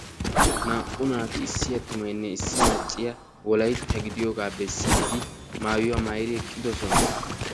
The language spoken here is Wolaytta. Naa"u naati issi attumaynne issi macciya wolaytta gidiyogaa bessiidi maayuwa maayidi eqqiddossona.